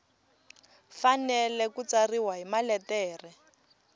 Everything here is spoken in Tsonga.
fanele ku tsariwa hi maletere